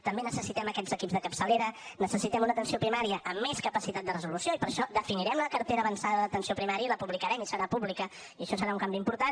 també necessitem aquests equips de capçalera necessitem una atenció primària amb més capacitat de resolució i per això definirem la cartera avançada d’atenció primària i la publicarem i serà pública i això serà un canvi important